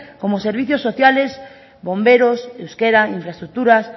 como servicios social bomberos euskera infraestructuras